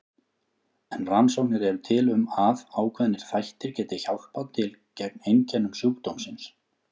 En rannsóknir eru til um að ákveðnir þættir geti hjálpað til gegn einkennum sjúkdómsins.